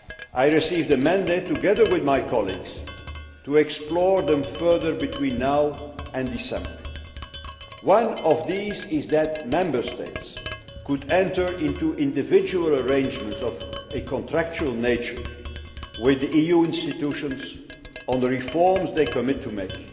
I received a mandate, together with my colleagues, to explore them further between now and December. One of these is that Member States could enter into individual arrangements of a contractual nature with the EU institutions on the reforms they commit to